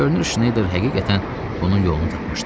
Görünür Şneyder həqiqətən bunun yolunu tapmışdı.